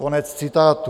Konec citátu.